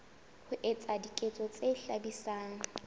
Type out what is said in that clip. ho etsa diketso tse hlabisang